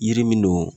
Yiri min don